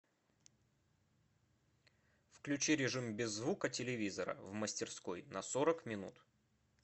включи режим без звука телевизора в мастерской на сорок минут